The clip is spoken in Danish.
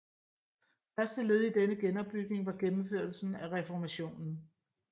Første led i denne genopbygning var gennemførelsen af reformationen